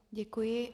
Děkuji.